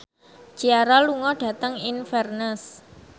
Ciara lunga dhateng Inverness